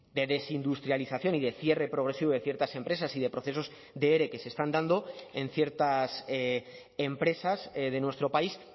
de desindustrialización y de cierre progresivo de ciertas empresas y de procesos de ere que se están dando en ciertas empresas de nuestro país